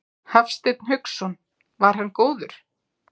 Hafsteinn Hauksson: Var hann góður?